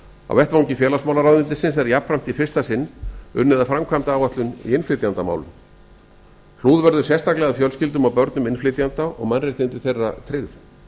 á vettvangi félagsmálaráðuneytisins er jafnframt í fyrsta sinn unnið að framkvæmdaáætlun í innflytjendamálum hlúð verður sérstaklega að börnum innflytjenda og mannréttindi þeirra tryggð